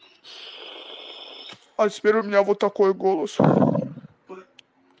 а теперь у меня вот такой голос